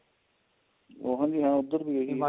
ਹਾਂਜੀ ਹਾਂ ਉਧਰ ਵੀ ਇਹੀ ਹੈ